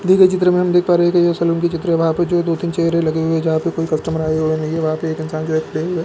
दिए गए चित्र मे हम देख पा रहे है ये सेलून की चित्र है वहां पे जो दो तीन चेयरे लगी है जहां पर कोई कस्टमर आए हुए नहीं है वहां पे एक इंसान जो है खड़े हुए है।